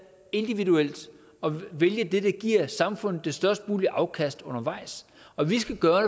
individuelt og vælge det der giver samfundet det størst mulige afkast undervejs og vi skal gøre